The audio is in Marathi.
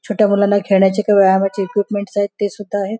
छोट्या मुलांना खेळण्याचे किंवा व्यायामाचे इक्यूपमेन्टस आहेत ते सुद्धा आहेत.